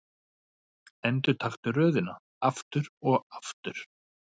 Endurtaktu röðina aftur og aftur.